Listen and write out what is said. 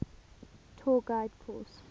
tour guide course